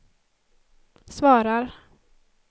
svarar